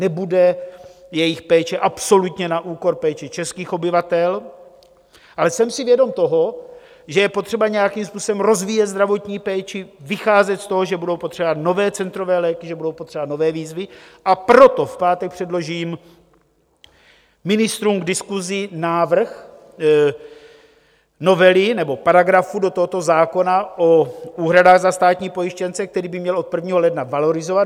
Nebude jejich péče absolutně na úkor péče českých obyvatel, ale jsem si vědom toho, že je potřeba nějakým způsobem rozvíjet zdravotní péči, vycházet z toho, že budou potřeba nové centrové léky, že budou potřeba nové výzvy, a proto v pátek předložím ministrům k diskusi návrh novely nebo paragrafu do tohoto zákona o úhradách za státní pojištěnce, který by měl od 1. ledna valorizovat.